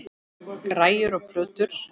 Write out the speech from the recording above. Græjur og plötur.